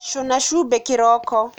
Cūna cumbī kīroko.